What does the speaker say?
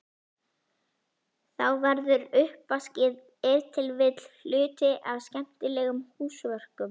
Þá verður uppvaskið ef til vill hluti af skemmtilegum húsverkum.